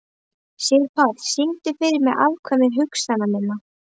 Sigurpáll, syngdu fyrir mig „Afkvæmi hugsana minna“.